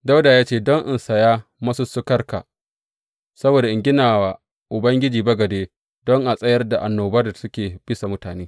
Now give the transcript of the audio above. Dawuda ya ce, Don in saya masussukarka, saboda in gina wa Ubangiji bagade don a tsayar da annoban da suke a bisa mutane.